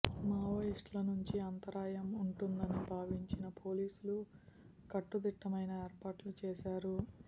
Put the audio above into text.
Maoist ల నుంచి అంతరాయం ఉంటుందని భావించిన పోలీసులు కట్టుదిట్టమైన ఏర్పాట్లు చేశారు